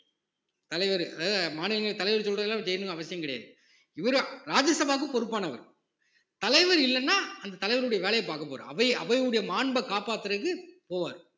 தலைவரு அதாவது மாநில தலைவர் சொல்றது எல்லாம் அவர் செய்யணும்னு அவசியம் கிடையாது இவரும் ராஜ்ய சபாக்கு பொறுப்பானவர் தலைவர் இல்லைன்னா அந்த தலைவருடைய வேலையை பார்க்க அவை அவையுடைய மாண்பை காப்பாத்துறதுக்கு போவாரு